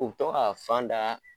U b tɔ ka fan da